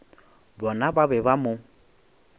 bona ba be ba mo